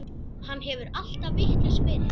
Hann hefur alltaf vitlaus verið.